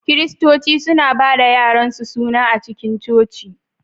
Kiristoci suna ba da yaransu suna a cikin coci.